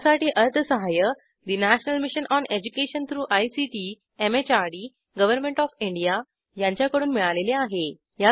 यासाठी अर्थसहाय्य national mission on education through ICT MHRD government of India यांच्याकडून मिळालेले आहे